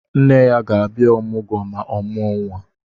Nne ya ga-abia ọmụgwọ ma o muo nwa.